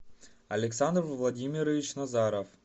александр владимирович назаров